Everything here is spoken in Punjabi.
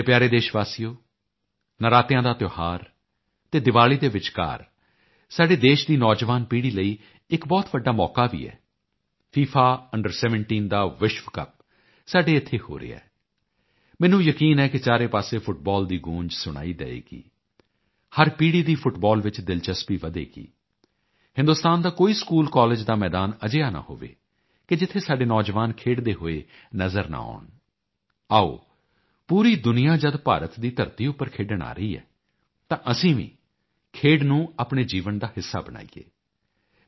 ਮੇਰੇ ਪਿਆਰੇ ਦੇਸ਼ ਵਾਸੀਓ ਨਰਾਤਿਆਂ ਦਾ ਤਿਓਹਾਰ ਅਤੇ ਦਿਵਾਲੀ ਦੇ ਵਿਚਕਾਰ ਸਾਡੇ ਦੇਸ਼ ਦੀ ਨੌਜਵਾਨ ਪੀੜ੍ਹੀ ਲਈ ਇੱਕ ਬਹੁਤ ਵੱਡਾ ਮੌਕਾ ਵੀ ਹੈ ਫਿਫਾ under17 ਦਾ ਵਿਸ਼ਵ ਕੱਪ ਸਾਡੇ ਇੱਥੇ ਹੋ ਰਿਹਾ ਹੈ ਮੈਨੂੰ ਯਕੀਨ ਹੈ ਕਿ ਚਾਰੇ ਪਾਸੇ ਫੁੱਟਬਾਲ ਦੀ ਗੂੰਜ ਸੁਣਾਈ ਦੇਵੇਗੀ ਹਰ ਪੀੜ੍ਹੀ ਦੀ ਫੁੱਟਬਾਲ ਚ ਦਿਲਚਸਪੀ ਵਧੇਗੀ ਹਿੰਦੁਸਤਾਨ ਦਾ ਕੋਈ ਸਕੂਲਕਾਲਜ ਦਾ ਮੈਦਾਨ ਅਜਿਹਾ ਨਾ ਹੋਵੇ ਕਿ ਜਿੱਥੇ ਸਾਡੇ ਨੌਜਵਾਨ ਖੇਡਦੇ ਹੋਏ ਨਜ਼ਰ ਨਾ ਆਉਣ ਆਓ ਪੂਰੀ ਦੁਨੀਆ ਜਦ ਭਾਰਤ ਦੀ ਧਰਤੀ ਉੱਪਰ ਖੇਡਣ ਆ ਰਹੀ ਹੈ ਤਾਂ ਅਸੀਂ ਵੀ ਖੇਡ ਨੂੰ ਆਪਣੇ ਜੀਵਨ ਦਾ ਹਿੱਸਾ ਬਣਾਈਏ